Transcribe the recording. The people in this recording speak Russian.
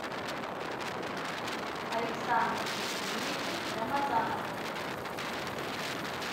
александру сергеевичу рамазанову